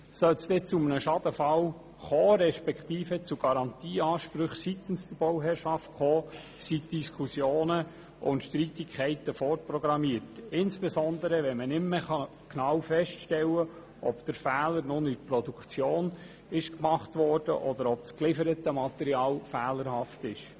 Sollte es zu einem Schadenfall respektive zu Garantieansprüchen seitens der Bauherrschaft kommen, sind Streitigkeiten und Diskussionen vorprogrammiert, insbesondere wenn nicht mehr genau festgestellt werden kann, ob der Fehler nur in der Produktion gemacht wurde, oder ob das gelieferte Material fehlerhaft ist.